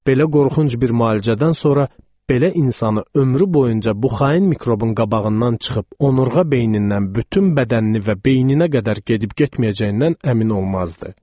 Belə qorxunc bir müalicədən sonra belə insanı ömrü boyunca bu xain mikrobin qabağından çıxıb onurğa beynindən bütün bədənini və beyninə qədər gedib-getməyəcəyindən əmin olmazdı.